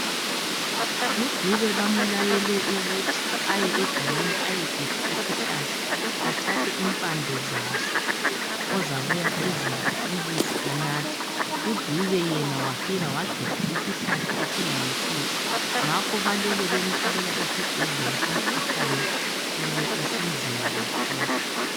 UDube bamulayele ukuthi, aye egangeni ayegebha isihlahla athathe impande zaso ozabuya ezibilisa anathe. UDube yena wafika wagebha isihlahla esingayisiso ngakho balele bemthwalela esibhedlela umkhuhkane usumi usunzima kakhulu.